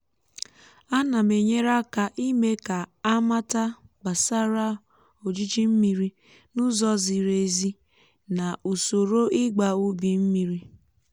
ana m enyere aka ịme kà á mátá gbasara ojiji mmiri n’ụzọ ziri um ezi na um usoro ịgba ubi mmiri um